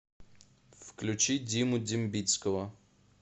включи диму дембицкого